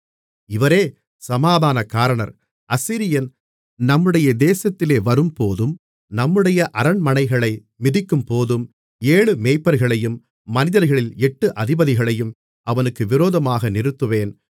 இவரே சமாதான காரணர் அசீரியன் நம்முடைய தேசத்திலே வரும்போதும் நம்முடைய அரண்மனைகளை மிதிக்கும்போதும் ஏழு மேய்ப்பர்களையும் மனிதர்களில் எட்டு அதிபதிகளையும் அவனுக்கு விரோதமாக நிறுத்துவேன்